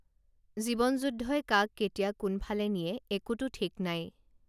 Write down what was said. জীৱন যুদ্ধই কাক কেতিয়া কোনফালে নিয়ে একোটো ঠিক নাই